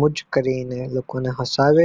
much કરીને લોકોને હસાવે